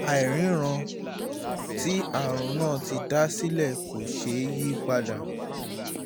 àìríran tí àrùn náà ti dá sílẹ̀ kò ṣeé yí padà